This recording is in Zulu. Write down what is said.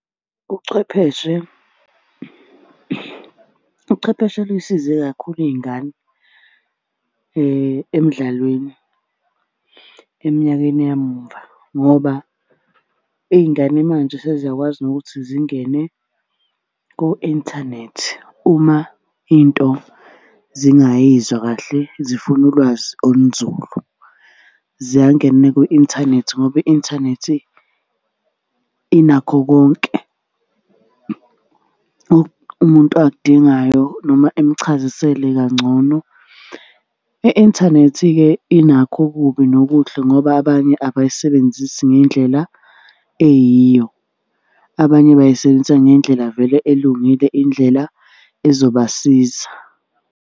Ubuchwepheshe, uchwepheshe luy'size kakhulu iy'ngane emdlalweni eminyakeni yamuva, ngoba iy'ngane manje seziyakwazi nokuthi zingene ko-inthanethi uma into zingayizwa kahle, zifuna ulwazi olunzulu. Ziyangena kwi-inthanethi ngoba i-inthanethi inakho konke umuntu akudingayo noma imuchazisele kangcono. I-inthanethi-ke inakho ububi nobuhle ngoba abanye abayisebenzisi ngendlela eyiyo. Abanye bayisebenzisa ngendlela vele elungile indlela ezobasiza.